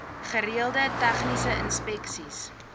gereelde tegniese inspeksies